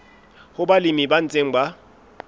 ho balemi ba ntseng ba